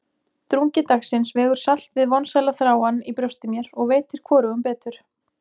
Drungi dagsins vegur salt við vonsælan þráann í brjósti mér, og veitir hvorugum betur.